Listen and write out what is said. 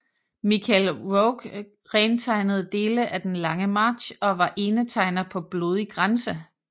Michel Rouge rentegnede dele af Den lange march og var enetegner på Blodig grænse